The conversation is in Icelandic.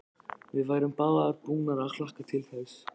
Við værum báðar búnar að hlakka til þess.